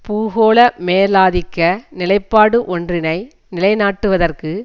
பூகோள மேலாதிக்க நிலைப்பாடு ஒன்றினை நிலை நாட்டுவதற்கு